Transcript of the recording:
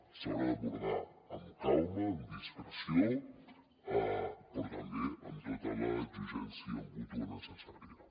s’haurà d’abordar amb calma amb discreció però també amb tota l’exigència mútua necessària